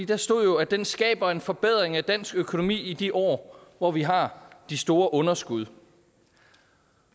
der stod at den skaber en forbedring af dansk økonomi i de år hvor vi har de store underskud